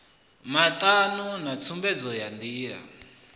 matano na tsumbedzo ya ndilani